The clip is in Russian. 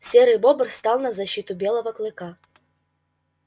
серый бобр стал на защиту белого клыка